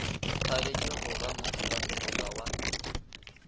thabetše go ba mothopasefoka wa